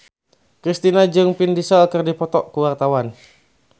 Kristina jeung Vin Diesel keur dipoto ku wartawan